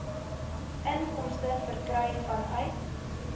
inkomste verkry vanuit